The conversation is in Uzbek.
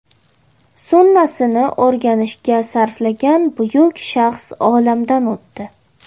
Sunnasini o‘rganishga sarflagan buyuk shaxs olamdan o‘tdi.